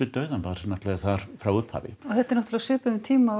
dauðann voru náttúrulega þar frá upphafi og þetta er náttúrulega á þeim tíma